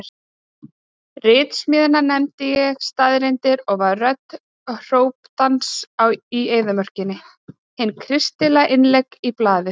Ritsmíðina nefndi ég Staðreyndir og var rödd hrópandans í eyðimörkinni, eina kristilega innleggið í blaðið.